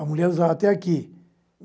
A mulher usava até aqui.